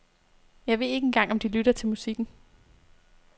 Jeg ved ikke engang om de lytter til musikken.